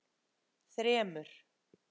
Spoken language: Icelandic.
þremur